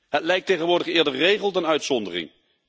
Het lijkt tegenwoordig eerder regel dan uitzondering.